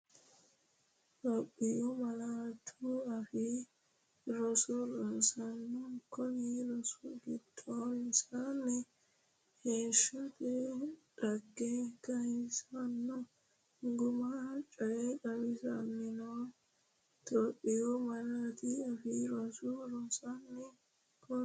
Itophiyu Malaatu Afii Roso Rosaano, konni rosi gedensaanni Heeshshote dhagge kayissanno guma coye xawissinanni Itophiyu Malaatu Afii Roso Rosaano, konni.